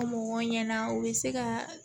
Mɔgɔw ɲɛna u bɛ se ka